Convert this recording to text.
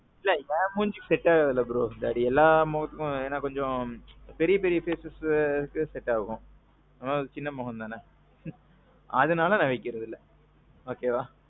இல்ல ஏன் மூஞ்சிக்கி set ஆகாதுல்ல bro? தாடி எல்லா மோகத்துக்கும் ஏன்னா கொஞ்சம். பெரிய பெரிய facesக்கு set ஆகும். நம்மது சின்ன முகம்தானே. அதனால நான் வைக்குறதில்ல. okayவா?